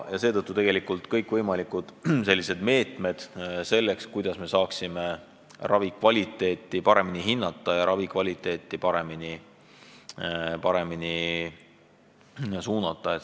Seetõttu on äärmiselt olulised kõikvõimalikud meetmed, kuidas me saame ravikvaliteeti paremini hinnata ja paremini suunata.